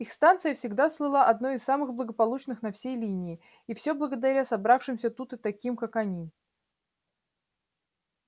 их станция всегда слыла одной из самых благополучных на всей линии и все благодаря собравшимся тут и таким как они